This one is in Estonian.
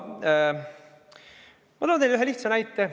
Aga ma toon teile ühe lihtsa näite.